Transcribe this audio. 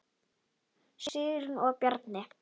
Sigrún og Bjarni.